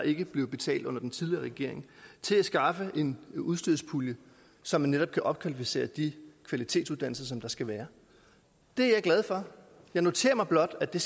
ikke blev betalt under den tidligere regering til at skaffe en udstyrspulje så man netop kan opkvalificere de kvalitetsuddannelser som der skal være det er jeg glad for jeg noterer mig blot at det